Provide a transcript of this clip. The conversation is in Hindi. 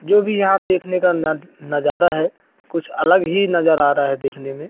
जो भी यहां देखने का न नजारा है कुछ अलग ही नजर आ रहा है देखने में।